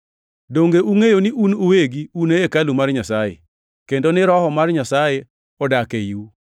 Donge ungʼeyo ni un uwegi un e hekalu mar Nyasaye, kendo ni Roho mar Nyasaye odak eiu?